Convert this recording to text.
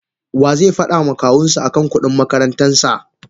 Waze fada ma Kawunshi akan kudin makarantarsa?